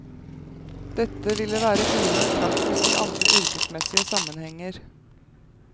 Dette ville være uhørt praksis i andre yrkesmessige sammenhenger.